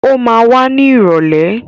Ó ma wá ní ìrọ̀lẹ́.